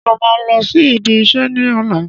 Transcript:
Ṣé ó máa lọ sí ibi iṣẹ́ ní ọ̀la?